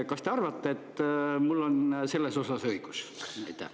Kas te arvate, et mul on selles osas õigus?